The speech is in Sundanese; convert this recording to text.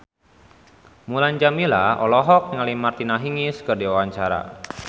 Mulan Jameela olohok ningali Martina Hingis keur diwawancara